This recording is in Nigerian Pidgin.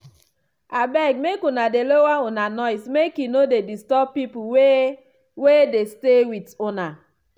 abeg make una dey lower una noise make e no dey disturb pipul wey wey dey stay wit una.